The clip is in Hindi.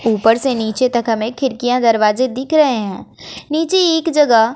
ऊपर से नीचे तक हमें खिड़कियां दरवाजे दिख रहे हैं नीचे एक जगह--